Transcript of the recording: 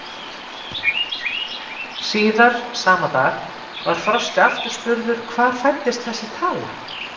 Síðar, sama dag, var Frosti aftur spurður, hvar fæddist þessi tala?